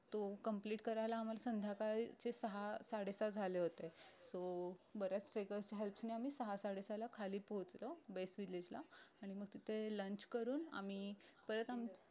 तो complete करायला आम्हाला संध्याकाळचे सहा साडे सहा झाले होतो so बऱ्याच trackers च्या helps ने आम्ही सहा साडे सहाला खाली पोहचलो village ला आणि मग तिथे lunch करून आम्ही परत